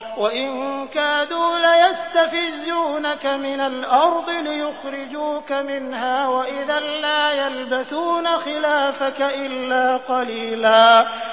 وَإِن كَادُوا لَيَسْتَفِزُّونَكَ مِنَ الْأَرْضِ لِيُخْرِجُوكَ مِنْهَا ۖ وَإِذًا لَّا يَلْبَثُونَ خِلَافَكَ إِلَّا قَلِيلًا